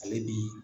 Ale ni